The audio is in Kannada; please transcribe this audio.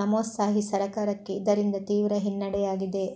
ನವೋತ್ಸಾಹಿ ಸರಕಾರಕ್ಕೆ ಇದರಿಂದ ತೀವ್ರ ಹಿನ್ನಡೆಯಾಗಿದೆ